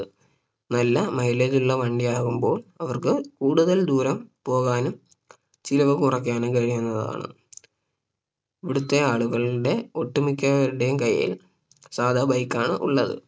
നല്ല Mileage ഉള്ള വണ്ടിയാകുമ്പോൾ അവർക്ക് കൂടുതൽ ദൂരം പോകാനും ചിലവ് കുറക്കാനും കഴിയുന്നതാണ് ഇവിടുത്തെ ആളുകളുടെ ഒട്ടുമിക്കവരുടെയും കൈയിൽ സാധാ Bike ആണ് ഉള്ളത്